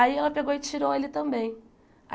Aí ela pegou e tirou ele também.